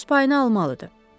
O öz payını almalıdır.